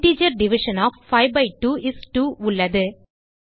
integer division of 5 by 2 is 2 உள்ளது